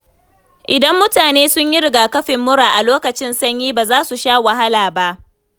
Idan mutane sun yi rigakafin mura a lokacin sanyi, ba za su sha wahala ba.